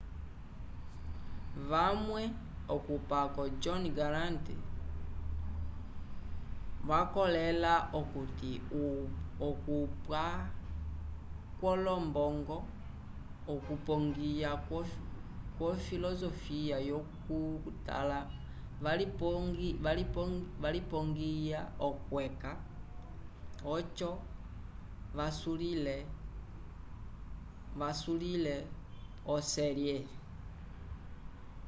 vamwe okupako jonh garant vakolela okuti okupwankwolombongo okupongiya kwo filosofia yo ku tala valipongya okweca oco vasulile o série